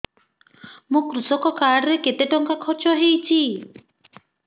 ମୋ କୃଷକ କାର୍ଡ ରେ କେତେ ଟଙ୍କା ଖର୍ଚ୍ଚ ହେଇଚି